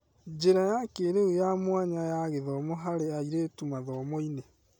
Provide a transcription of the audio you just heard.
Njĩra ya kĩĩrĩu ya mwanya ya gũthoma harĩ airĩtu mathomo-inĩ.